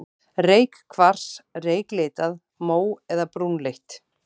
Reykkvars, reyklitað, mó- eða brúnleitt.